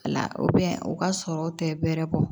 La u ka sɔrɔw tɛ bɛrɛ bɔ